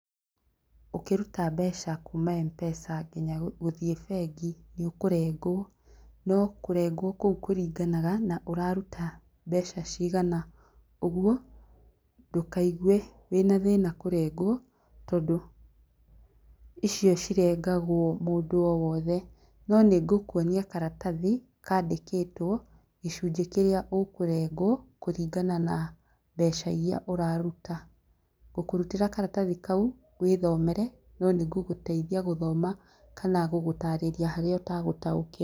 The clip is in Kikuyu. Ũkĩruta mbeca kuma MPESA nginya gũthiĩ bengi, nĩ ũkũrengwo. No kũrengwo kũu kũringanaga na ũraruta mbeca cigana. Ũguo ndũkaigue wĩna thĩna kũrengwo tondũ icio cirengagwo mũndũ o wothe. No nĩ ngũkwonia karatathi, kaandĩkĩtwo, gĩcunjĩ kĩrĩa ũkũrengwo, kũringana na mbeca iria ũraruta. Ngũkũrutĩra karatathi kau, wĩthomere, no nĩ ngũgũteithia gũthoma, kana gũgũtaarĩria harĩa ũtagũtaũkĩrwo.